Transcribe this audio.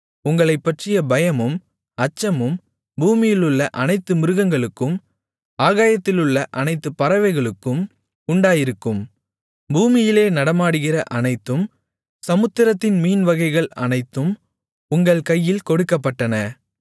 உங்களைப்பற்றிய பயமும் அச்சமும் பூமியிலுள்ள அனைத்து மிருகங்களுக்கும் ஆகாயத்திலுள்ள அனைத்துப் பறவைகளுக்கும் உண்டாயிருக்கும் பூமியிலே நடமாடுகிற அனைத்தும் சமுத்திரத்தின் மீன்வகைகள் அனைத்தும் உங்கள் கையில் கொடுக்கப்பட்டன